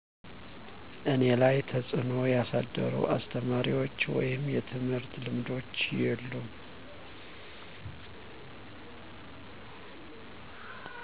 እኔ ላይ ተፅእኖ ያሳደሩ አስተማሪዎች ወይም የትምህርት ልምዶች የሉም